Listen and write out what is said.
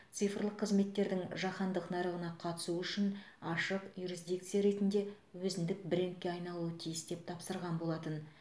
цифрлық қызметтердің жаһандық нарығына қатысу үшін ашық юрисдикция ретінде өзіндік брендке айналуы тиіс деп тапсырған болатын